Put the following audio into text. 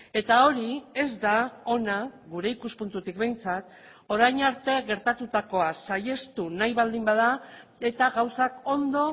eta hori ez da ona gure ikuspuntutik behintzat orain arte gertatutakoa saihestu nahi baldin bada eta gauzak ondo